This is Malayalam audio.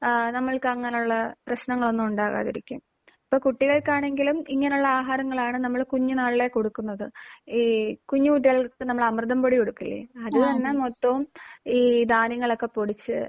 ഏഹ് നമ്മൾക്ക് അങ്ങനെയുള്ള പ്രശ്നങ്ങൾ ഒന്നും ഉണ്ടാകാതെയിരിക്കും. ഇപ്പോൾ കുട്ടികൾക്കാണെങ്കിലും ഇങ്ങനെയുള്ള ആഹാരങ്ങളാണ് നമ്മൾ കുഞ്ഞുന്നാളിലേ കൊടുക്കുന്നത്. ഈ കുഞ്ഞുകുട്ടികൾക്ക് നമ്മൾ അമൃതം പൊടി കൊടുക്കില്ലേ? അത് തന്നെ മൊത്തവും ഈ ധാന്യങ്ങളൊക്കെ പൊടിച്ച്